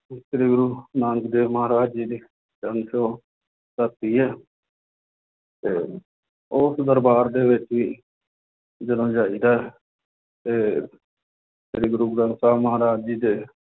ਸ੍ਰੀ ਗੁਰੂ ਨਾਨਕ ਦੇਵ ਮਹਾਰਾਜ ਜੀ ਦੀ ਚਰਨ ਛੂਹ ਧਰਤੀ ਹੈ ਤੇ ਉਸ ਦਰਬਾਰ ਦੇ ਵਿੱਚ ਵੀ ਜਦੋਂ ਜਾਈਦਾ ਹੈ ਤੇ ਸ੍ਰੀ ਗੁਰੂ ਗ੍ਰੰਥ ਸਾਹਿਬ ਮਹਾਰਾਜ ਜੀ ਦੇ